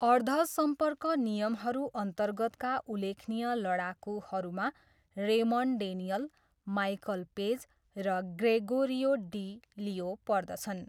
अर्ध सम्पर्क नियमहरू अन्तर्गतका उल्लेखनीय लडाकुहरूमा रेमन्ड डेनियल, माइकल पेज र ग्रेगोरियो डी लियो पर्दछन्।